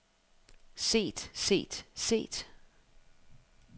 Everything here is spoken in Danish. set set set